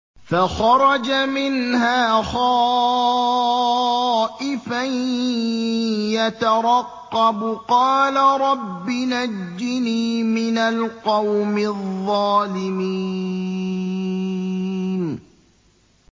فَخَرَجَ مِنْهَا خَائِفًا يَتَرَقَّبُ ۖ قَالَ رَبِّ نَجِّنِي مِنَ الْقَوْمِ الظَّالِمِينَ